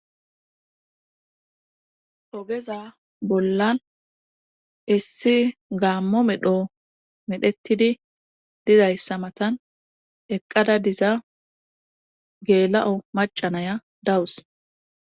Ogeza bollan issi gaammo medho medhettidi dizayssa matan eqqada diza geela'o macanaya dawus.